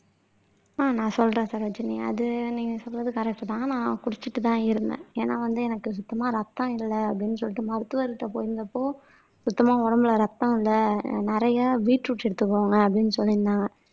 நான் சொல்றேன் சரோஜினி அது நீங்க சொல்றது கரெக்ட் தான் நான் குடிச்சிட்டுதான் இருந்தேன். ஏன்னா வந்து எனக்கு சுத்தமா ரத்தம் இல்ல அப்படின்னு சொல்லிட்டு மருத்துவர்கிட்ட போயிருந்தப்போ சுத்தமா உடம்புல ரத்தம் இல்ல நிறைய பீட்ரூட் எடுத்துக்கோங்க அப்படின்னு சொல்லி இருந்தாங்க.